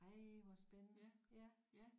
Ej hvor spændende ja